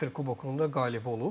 Kipr kubokunda qalib olub.